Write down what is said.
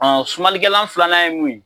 sumanlikɛlan filanan ye mun ye